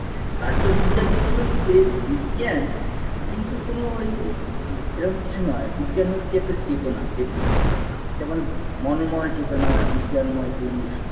প্রাচ্য বিদ্যা দৃষ্টিভঙ্গিতে বিজ্ঞান কিন্তু কোনো ঐ এরম কিছু নয় বিজ্ঞান হচ্ছে চেতনাকে বিজ্ঞান বলা হয় যেমন মনোময় চেতনা বিজ্ঞানময় পুরুষ